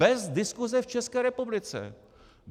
Bez diskuse v České republice.